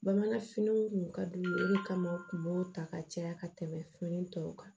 Bamanan finiw kun ka d'u ye olu kama u kun b'o ta ka caya ka tɛmɛ fini tɔw kan